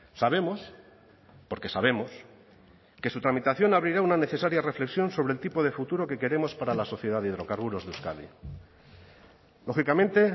sabemos porque sabemos que su tramitación abrirá una necesaria reflexión sobre el tipo de futuro que queremos para la sociedad de hidrocarburos de euskadi lógicamente